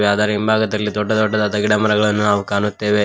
ಅದರ ಹಿಂಭಾಗದಲ್ಲಿ ದೊಡ್ಡ ದೊಡ್ಡದಾದ ಗಿಡಮರಗಳನ್ನು ನಾವು ಕಾಣುತ್ತೇವೆ.